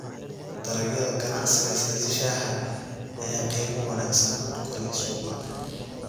Dalagyada ganacsiga sida shaaha ayaa qiimo wanaagsan ku leh suuqa.